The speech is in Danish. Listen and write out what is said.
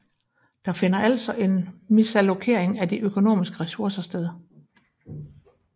Der finder altså en misallokering af de økonomiske resurser sted